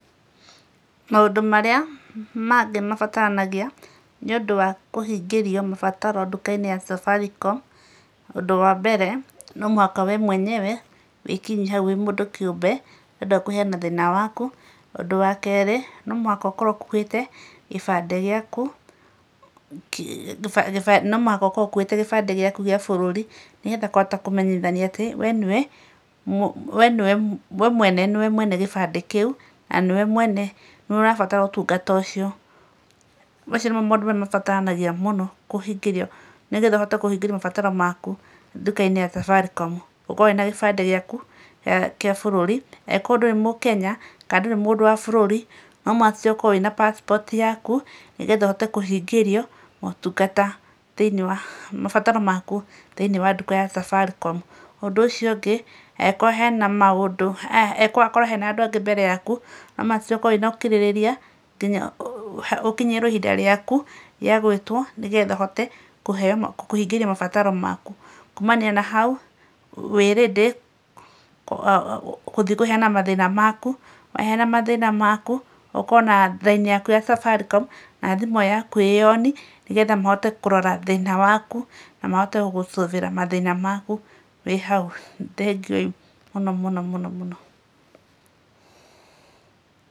Maũndũ marĩa mangĩ mabataranagia nĩũndũ wa kũhingĩrio mabataro nduka-inĩ ya Safaricom, ũndũ wa mbere, no mũhaka we mwenyewe wĩkinyi hau wĩ mũndũ kĩũmbe, nĩũndũ wa kũheana thĩna waku. Ũndũ wa kerĩ, no mũhaka ũkorwo ũkuĩte kĩbandĩ gĩaku, gĩbandĩ, no mũhaka ũkorwo ũkuĩte gĩbandĩ gĩaku gĩa bũrũri nĩgetha kũhota kũmenyithania atĩ, we nĩ we, we nĩ we, we mwene nĩ we mwene gĩbandĩ kĩu, na nĩ we mwene, nĩ we ũrabatara ũtungata ũcio. Macio nĩmo maũndũ marĩa mabataranagia mũno kũhingĩrio nĩgetha ũhote kũhingĩrio mabataro maku nduka-inĩ ya Safaricom. Ũkorwo wĩna gĩbandĩ gĩaku kĩa bũrũri. Angĩkorwo ndũrĩ mũkenya kana ndũrĩ mũndũ wa bũrũri, no must ũkorwo wĩna passport yaku nĩgetha ũhote kũhingĩrio maũtungata thĩinĩ wa mabataro maku thĩinĩ wa nduka ya Safaricom. Ũndũ ũcio ũngĩ, angĩkorwo hena maũndũ, angĩkorwo akorwo hena andũ angĩ mbere yaku, no must ũkorwo wĩna ũkirĩrĩria nginya ũkinyĩrwo ihinda rĩaku rĩa gwĩtwo, nĩgetha ũhote kũheo mabataro kũhingĩrio mabataro maku. Kuumania na hau, wĩ ready kũthiĩ kũheana mathĩna maku. Waheana mathĩna maku, ũkorwo na raini yaku ya Safaricom, na thimũ yaku ĩ on, nĩgetha mahote kũrora thĩna waku na mahote gugũ solve ĩra mathĩna maku wĩ hau. Thengiũi mũno mũno mũno mũno.